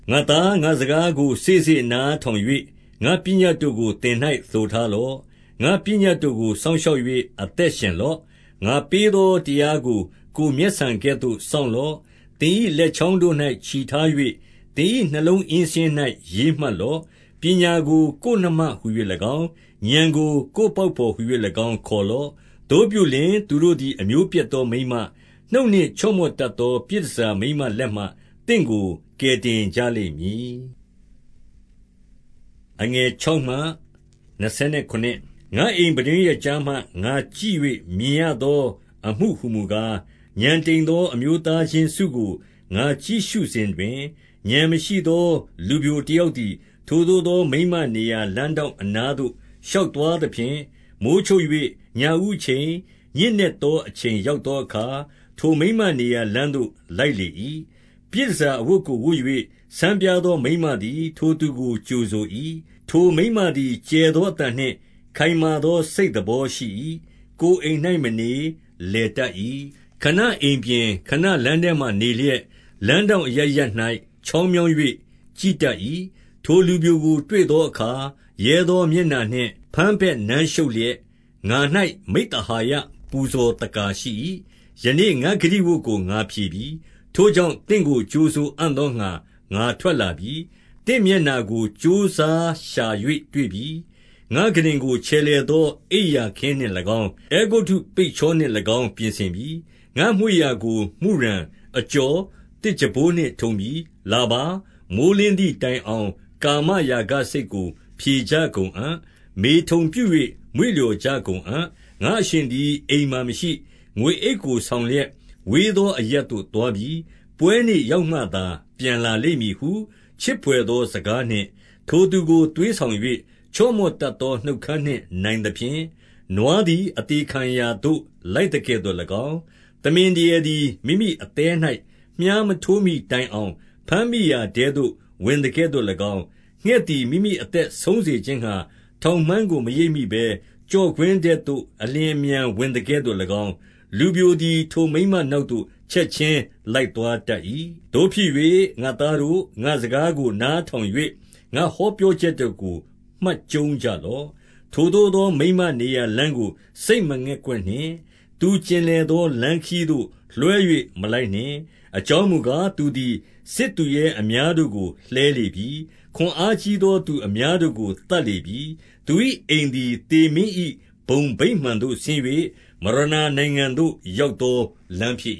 ငါ့သား၊ ငါ့စကားကို စေ့စေ့နားထောင်၍၊ ငါ့ပညတ်တို့ကို သင်၌ သိုထားလော့။ 2 ငါ့ပညတ်တို့ကို စောင့်ရှောက်၍ အသက်ရှင် လော့။ ငါပေးသောတရားကို ကိုယ်မျက်ဆန်ကဲ့သို့ စောင့်လော့။ 3 သင်၏လက်ချောင်းတို့၌ ချည်ထား၍၊ သင်၏ နှလုံးအင်းစာရင်း၌ ရေးမှတ်လော့။ 4 ပညာကိုကိုယ်နှမဟူ၍၎င်း၊ ဥာဏ်ကို ကိုယ် ပေါက်ဘော်ဟူ၍၎င်း ခေါ်လော့။ 5 သို့ပြုလျှင်သူတို့သည် အမျိုးပျက်သောမိန်းမ၊ နှုတ်နှင့် ချော့မော့တတ်သော ပြည်တန်ဆာမိန်းမလက်မှ သင့်ကို ကယ်တင်ကြလိမ့်မည်။ 6 ငါ့အိမ်ပြတင်းရွက်ကြားမှ ငါကြည့်၍မြင်ရသော အမှုဟူမူကား၊ 7 ဥာဏ်တိမ်သော အမျိုးသားချင်းစုကို ငါကြည့်ရှုစဉ်တွင်၊ ဥာဏ်မရှိသော လူပျိုတယောက်သည်၊ 8 ထိုသို့သော မိန်းမနေရာလမ်းထောင့် အနားသို့ ရှောက်သွားသဖြင့်၊ 9 မိုဃ်းချုပ်၍ ညဦးအချိန်၊ ညဉ့်နက်သော အချိန် ရောက်သောအခါ၊ ထိုမိန်းမနေရာ လမ်းသို့ လိုက်လေ၏။ 10 ပြည်တန်ဆာ အဝတ်ကိုဝတ်၍၊ ဆန်းပြားသော မိန်းမသည် ထိုသူကို ကြိုဆို၏။ 11 ထိုမိန်းမသည် ကျယ်သောအသံနှင့် ခိုင်မာသော စိတ်သဘောရှိ၏။ ကိုယ်အိမ်၌မနေ၊ လည်တတ်၏။ 12 ခဏအိမ်ပြင်၊ ခဏလမ်းထဲမှာနေလျက်၊ လမ်း ထောင့်အရပ်ရပ်၌ ချောင်းမြောင်း၍ကြည့်တတ်၏။ 13 ထိုလူပျိုကိုတွေ့သောအခါ၊ ရဲသောမျက်နှာနှင့် ဘမ်းဘက်နမ်းရှုပ်လျက်၊ 14 ငါ၌ မိဿဟာယပူဇော်သက္ကာရှိ၏။ ယနေ့ ငါ့ဂတိဝတ်ကို ငါဖြေပြီ။ 15 ထိုကြောင့်သင့်ကို ကြိုဆိုအံ့သောငှါ ငါထွက် လာပြီ။ သင့်မျက်နှာကို ကြိုးစားရှာ၍တွေ့ပြီ။ 16 ငါ့ခုတင်ကိုချယ်လှယ်သော အိပ်ရာခင်းနှင့်၎င်း၊ အဲဂုတ္တုပိတ်ချောနှင့်၎င်း ပြင်ဆင်ပြီ။ 17 ငါ့မွေ့ရာကို မုရန်၊ အကျော်၊ သစ်ကြံပိုးနှင့်ထုံပြီ။ 18 လာပါ၊ မိုဃ်းလင်းသည်တိုင်အောင် ကာမရာဂ စိတ်ကို ဖြေကြကုန်အံ့။ မေထုန်ပြု၍ မွေ့လျော်ကြကုန်အံ့။ 19 ငါ့အရှင်သည် အိမ်မှာမရှိ။ ငွေအိတ်ကို ဆောင် လျက်ဝေးသော အရပ်သို့သွားပြီ။ 20 ပွဲနေ့ရောက်မှသာ ပြန်လာလိမ့်မည်ဟု၊ 21 ချစ်ဘွယ်သော စကားနှင့် ထိုသူကို သွေးဆောင် ၍ ချော့မော့တတ်သောနှုတ်ခမ်းနှင့်နိုင်သဖြင့်၊ 22 နွားသည်အသေခံရာသို့ လိုက်သကဲ့သို့၎င်း၊ သမင်ဒရယ်သည် မိမိအသည်း၌ မြှားမထိုးမှီတိုင်အောင်၊ ဘမ်းမိရာထဲသို့ ဝင်သကဲ့သို့၎င်း၊ 23 ငှက်သည် မိမိအသက်ဆုံးစေခြင်းငှါ ထောင် မှန်းကိုမရိပ်မိဘဲ၊ ကျော့ကွင်းထဲသို့ အလျင်အမြန် ဝင်သကဲ့သို့၎င်း၊ လူပျိုသည် ထိုမိန်းမနောက်သို့ ချက်ခြင်း လိုက်သွားတတ်၏။ 24 သို့ဖြစ်၍ ငါ့သားတို့၊ ငါ့စကားကိုနားထောင်၍ ငါဟောပြောချက်တို့ကို မှတ်ကျုံးကြလော့။ 25 ထိုသို့သော မိန်းမနေရာလမ်းကို စိတ်မငဲ့ကွက် နှင့်။ သူကျင်လည်သော လမ်းခရီးသို့ လွှဲ၍မလိုက်နှင့်။ 26 အကြောင်းမူကား၊ သူသည်စစ်သူရဲအများတို့ကို လှဲလေပြီ။ ခွန်အားကြီးသော သူအများတို့ကို သတ်လေပြီ။ 27 သူ၏အိမ်သည် သေမင်း၏ဘုံဗိမာန်သို့ဆင်း၍၊ မရဏနိုင်ငံသို့ ရောက်သောလမ်းဖြစ်